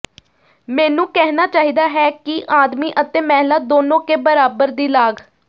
ਮੈਨੂੰ ਕਹਿਣਾ ਚਾਹੀਦਾ ਹੈ ਕਿ ਆਦਮੀ ਅਤੇ ਮਹਿਲਾ ਦੋਨੋ ਕੇ ਬਰਾਬਰ ਦੀ ਲਾਗ